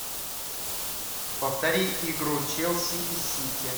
повтори игру челси и сити